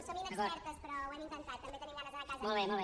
som inexpertes però ho hem intentat també tenim ganes d’anar·nos·en a casa